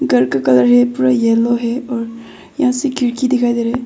घर का कलर है पूरा येलो है और यहां से खिड़की दिखाई दे रहा है।